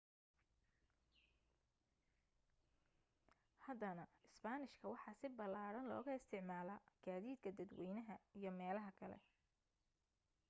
haddana isbaanishka waxa si ballaadhan looga isticmaalaa gaadiidka dadwaynaha iyo meelaha kale